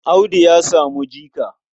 Audu ya samu jika.